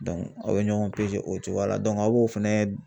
aw be ɲɔgɔn o cogoya la a b'o fɛnɛ